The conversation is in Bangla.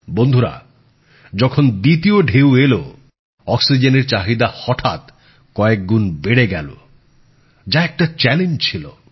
বন্ধুরা যখন দ্বিতীয় ঢেউ এল অক্সিজেনের চাহিদা হঠাৎ কয়েক গুণ বেড়ে গেল যা একটা চ্যালেঞ্জ ছিল